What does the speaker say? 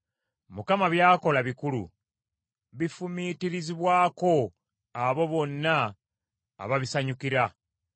Mukama by’akola bikulu; bifumiitirizibwako abo bonna ababisanyukira.